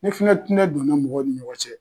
Ne fana tɛna don n'o ye mɔgɔw ni ɲɔgɔn cɛ.